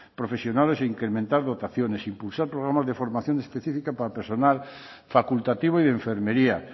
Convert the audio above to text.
profesionales e incrementar dotaciones impulsar programas de formación específica para personal facultativo y de enfermería